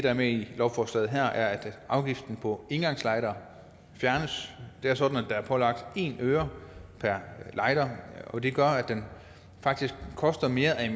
er med i lovforslaget her er at afgiften på engangslightere fjernes det er sådan at der er pålagt en øre per lighter og det gør at det faktisk koster mere at